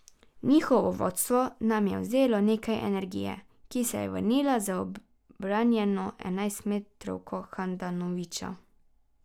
Njihovo vodstvo nam je vzelo nekaj energije, ki se je vrnila z obranjeno enajstmetrovko Handanovića.